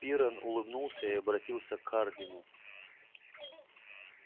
пиренн улыбнулся и обратился к хардину